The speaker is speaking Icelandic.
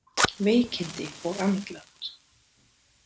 Veikindi og andlát